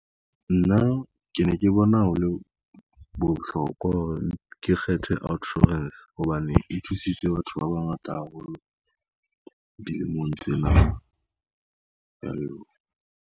Nna ke ne ke bona ho le bohlokwa hore ke kgethe outsurance, hobane e thusitse batho ba bangata haholo dilemong tsena, kea leboha.